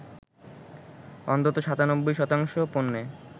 অন্তত ৯৭ শতাংশ পণ্যে